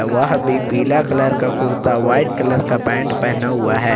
वह भी पीला कलर का कुर्ता व्हाइट कलर का पैंट पहना हुआ है।